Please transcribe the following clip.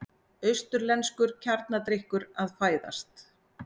Austurlenskur kjarnadrykkur að fæðast.